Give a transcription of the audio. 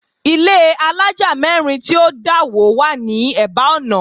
Ilé àlája mẹ́rin tí ó dà wó wá ní eba ọ̀nà